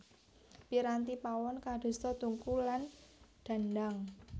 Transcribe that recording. Piranti pawon kadosta tungku lan dhandhang